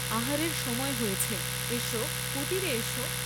আহারের সময় হয়েছে, এস কুটীরে এস?